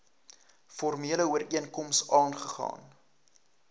formele ooreenkoms aagegaan